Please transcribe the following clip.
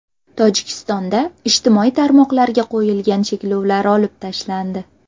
Tojikistonda ijtimoiy tarmoqlarga qo‘yilgan cheklovlar olib tashlandi.